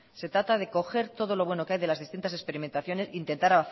se trata de coger todo lo bueno que hay de las distintas experimentaciones intentar